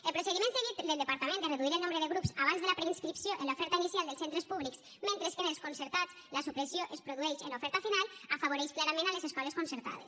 el procediment seguit del departament de reduir el nombre de grups abans de la preinscripció en l’oferta inicial dels centres públics mentre que en els concertats la supressió es produeix en l’oferta final afavoreix clarament les escoles concertades